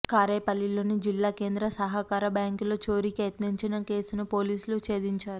కారేపల్లిలోని జిల్లా కేంద్ర సహకార బ్యాంకులో చోరీకి యత్నించిన కేసును పోలీసులు ఛేదించారు